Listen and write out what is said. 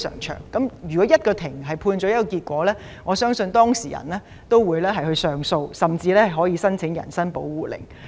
當法庭作出判決後，相信當事人會提出上訴，甚至申請人身保護令。